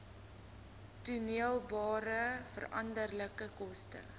toedeelbare veranderlike koste